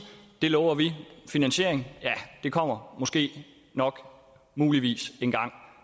det lover vi finansieringen kommer måske nok muligvis engang